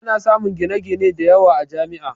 Ana samun gine-gine da yawa a Jami'a